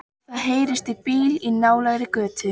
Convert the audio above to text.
Það heyrist í bíl í nálægri götu.